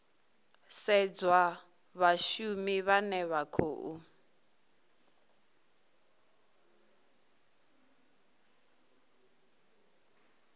sedzwa vhashumi vhane vha khou